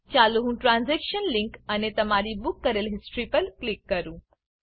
ચાલો હું transaction link અને તમારી બૂક કરેલ હિસ્ટ્રી પર ક્લિક કરું